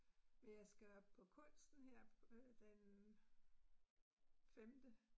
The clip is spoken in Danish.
Men jeg skal op på Kunsten her på øh den femte